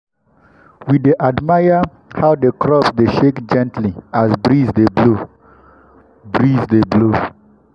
we dey admire how the crops dey shake gently as breeze dey blow. breeze dey blow.